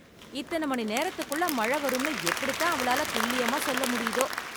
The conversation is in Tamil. இத்தனை மணி நேரத்துக்குள்ள மழை வரும்னு எப்படித் தான் அவளாலத் துல்லியமா சொல்ல முடியுதோ!